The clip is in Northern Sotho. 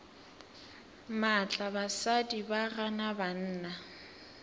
maatla basadi ba gana banna